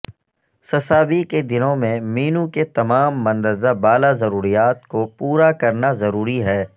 سسابی کے دنوں میں مینو کے تمام مندرجہ بالا ضروریات کو پورا کرنا ضروری ہے